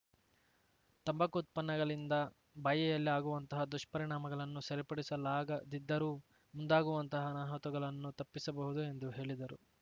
ತಂಬಾಕು ಉತ್ಪನ್ನಗಳಿಂದ ಬಾಯಿಯಲ್ಲಿ ಆಗುವಂತಹ ದುಷ್ಪರಿಣಾಮಗಳನ್ನು ಸರಿಪಡಿಸಲಾಗದಿದ್ದರೂ ಮುಂದಾಗುವಂತಹ ಅನಾಹುತಗಳನ್ನು ತಪ್ಪಿಸಬಹುದು ಎಂದು ಹೇಳಿದರು